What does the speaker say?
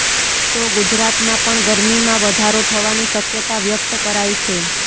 તો ગુજરાતમાં પણ ગરમીમાં વધારો થવાની શક્યતા વ્યક્ત કરાઇ છે